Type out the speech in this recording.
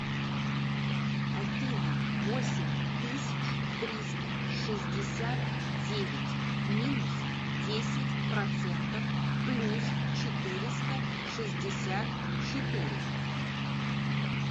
афина восемь тысяч триста шестьдесят девять минус десять процентов плюс четыреста шестьдесят четыре